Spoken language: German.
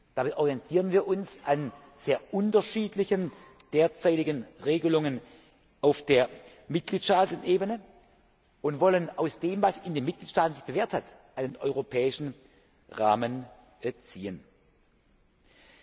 muss. Damit orientieren wir uns an sehr unterschiedlichen derzeitigen Regelungen auf Ebene der Mitgliedstaaten und wollen aus dem, was sich in den Mitgliedstaaten bewährt hat, einen europäischen Rahmen entwickeln.